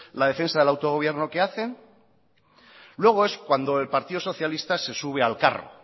la defensa del autogobierno que hacen luego es cuando el partido socialista se sube al carro